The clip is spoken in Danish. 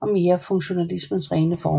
og mere funktionalismens rene former